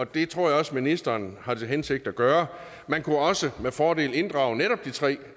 det tror jeg også ministeren har til hensigt at gøre man kunne også med fordel inddrage netop de tre